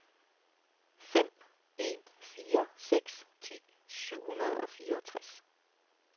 fem en fire seks ti syv hundrede og fireogtres